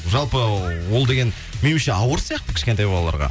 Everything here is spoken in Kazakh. жалпы ол деген меніңше ауыр сияқты кішкентай балаларға